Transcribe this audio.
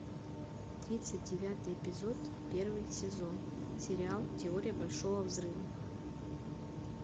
тридцать девятый эпизод первый сезон сериал теория большого взрыва